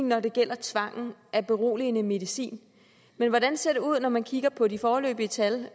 når det gælder tvangen af beroligende medicin men hvordan ser det ud når man kigger på de foreløbige tal